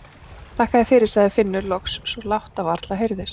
Þakka þér fyrir, sagði Finnur loks svo lágt að varla heyrðist.